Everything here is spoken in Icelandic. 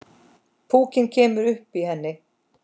Púkinn kemur upp í henni.